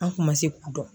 An kun ma se k'u dɔn